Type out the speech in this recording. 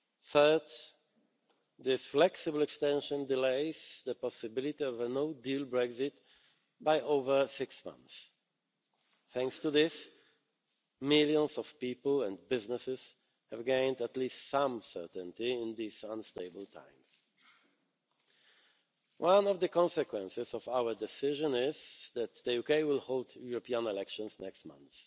Third, this flexible extension delays the possibility of a no deal Brexit by over six months. Thanks to this, millions of people and businesses have gained at least some certainty in these unstable times. One of the consequences of our decision is that the UK will hold European elections next month.